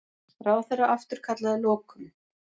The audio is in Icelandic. Ráðherra afturkallaði lokun